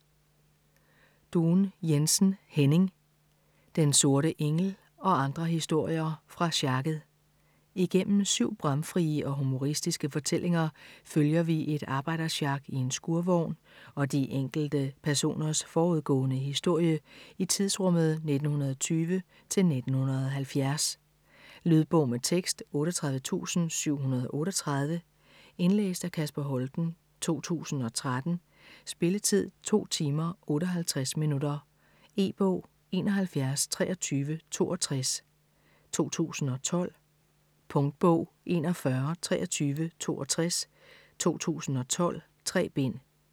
Duun Jensen, Henning: Den sorte engel - og andre historier fra sjakket Igennem syv bramfrie og humoristiske fortællinger følger vi et arbejdersjak i en skurvogn og de enkelte personers forudgående historie i tidsrummet 1920-1970. Lydbog med tekst 38738 Indlæst af Kasper Holten, 2013. Spilletid: 2 timer, 58 minutter. E-bog 712362 2012. Punktbog 412362 2012. 3 bind.